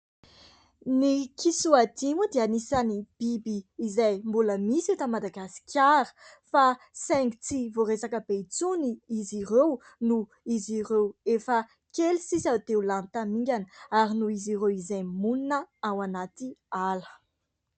Ny kisoadia moa dia anisan'ny biby izay mbola misy eto Madagasikara fa saingy tsy voaresaka be intsony izy ireo noho izy ireo efa kely sisa dia ho lany tamingana ary noho izy ireo izay monina ao anaty ala.